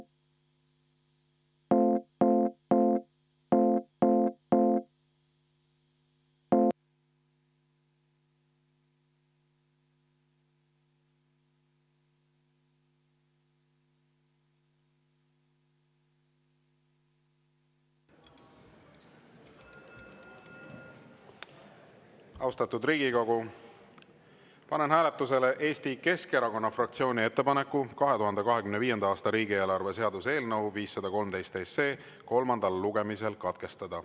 Austatud Riigikogu, panen hääletusele Eesti Keskerakonna fraktsiooni ettepaneku 2025. aasta riigieelarve seaduse eelnõu 513 kolmas lugemine katkestada.